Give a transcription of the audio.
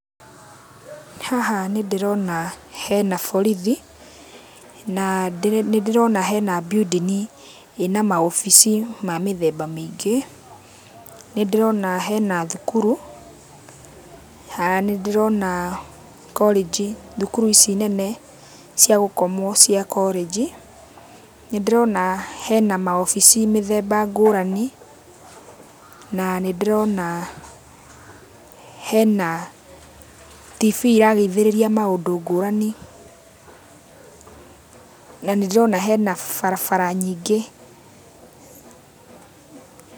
Haha nĩndĩrona hena borithi, na nĩndĩrona hena building ĩna maobici ma mĩthemba mĩingĩ. Nĩndĩrona hena thukuru, nĩndĩrona korĩnji, thukuru ici nene cia gũkomwo cia korĩnji. Nĩndĩrona hena maobici mĩthemba ngũrani, na nĩndĩrona hena TV iragathĩrĩria maũndũ ngũrani na nĩndĩrona hena barabara nyingĩ.